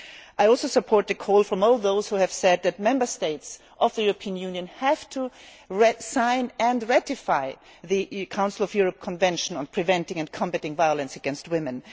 I also support the call from all those who have said that Member States of the European Union have to sign and ratify the Council of Europe Convention on Preventing and Combating Violence against Women.